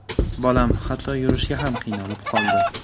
Bolam hatto yurishga ham qiynalib qoldi.